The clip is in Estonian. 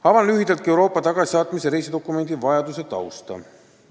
Avan lühidalt ka Euroopa tagasisaatmise reisidokumendi vajaduse tausta.